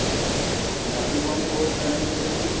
Punjabi song ਬਹੁਤ ਪੈਂਦੇ ਫ਼ਿਲਮਾ ਚ